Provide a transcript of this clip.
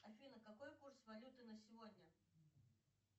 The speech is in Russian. афина какой курс валюты на сегодня